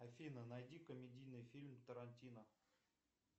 афина найди комедийный фильм тарантино